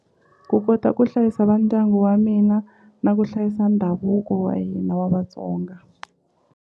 Ku kota ku hlayisa va ndyangu wa mina na ku hlayisa ndhavuko wa hina wa Vatsonga.